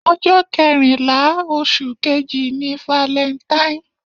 Ọjọ́ kẹrìnlá oṣù kejì ni valentine.